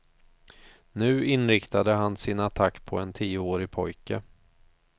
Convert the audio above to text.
Nu inriktade han sin attack på en tioårig pojke.